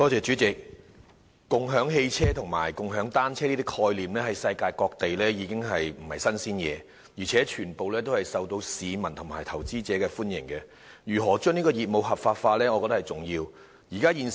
主席，共享汽車和共享單車等概念在世界各地都不是甚麼新鮮事物，而且廣受市民和投資者歡迎，我認為如何將業務合法化，是重要的一環。